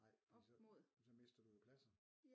Ej fordi så men så mister du jo pladser